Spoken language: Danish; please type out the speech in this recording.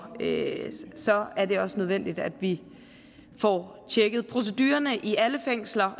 så er det også nødvendigt at vi får tjekket procedurerne i alle fængsler